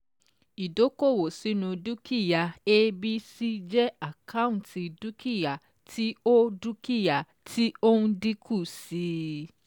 Ìdókòwò sínu dúkìá ABC jẹ́ àkáǹtì dúkìá tí ó dúkìá tí ó n dínkù sí i.